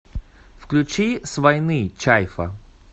включи с войны чайфа